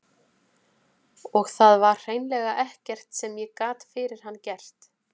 Og það var hreinlega ekkert sem ég gat fyrir hann gert.